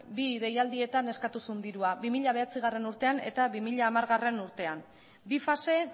bi deialdietan eskatu zuen dirua bi mila bederatzigarrena urtean eta bi mila hamargarrena urtean bi fase